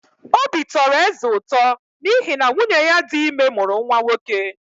Obi tọrọ eze ụtọ n’ihi na nwunye ya dị ime mụrụ nwa nwoke.